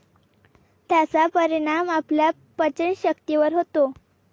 त्याचा परिणाम आपल्या पचनशक्तीवर होतो.